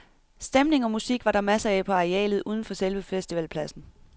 Stemning og musik var der masser af på arealet uden for selve festivalpladsen.